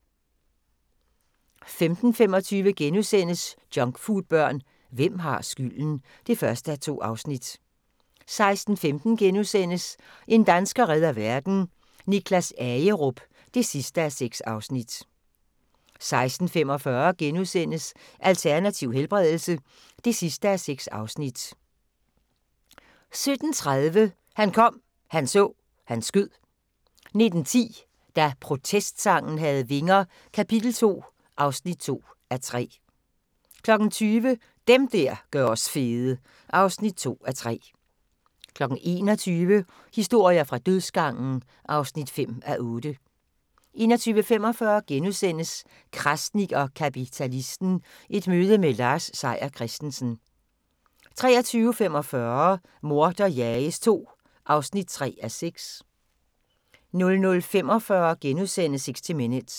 15:25: Junkfoodbørn – hvem har skylden? (1:2)* 16:15: En dansker redder verden - Niklas Agerup (6:6)* 16:45: Alternativ helbredelse (6:6)* 17:30: Han kom, han så, han skød 19:10: Da protestsangen havde vinger - Kap. 2 (2:3) 20:00: Dem der gør os fede (2:3) 21:00: Historier fra dødsgangen (5:8) 21:45: Krasnik og kapitalisten - et møde med Lars Seier Christensen * 23:45: Morder jages II (3:6) 00:45: 60 Minutes *